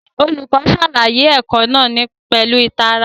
Olùkọ́ ṣàlàyé ẹ̀kọ́ náà pẹ̀lú ìtara